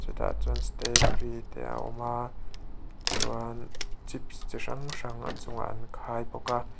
tah chuan stay free te a awm a chuan chips chi hrang hrang a chungah an khai bawk a.